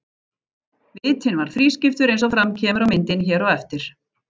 Vitinn var þrískiptur eins og fram kemur á myndinni hér á eftir.